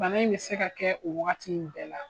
Bana be se ka kɛ o wagati in bɛɛ la